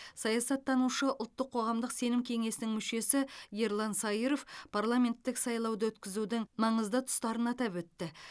саясаттанушы ұлттық қоғамдық сенім кеңесінің мүшесі ерлан сайыров парламенттік сайлауды өткізудің маңызды тұстарын атап өтті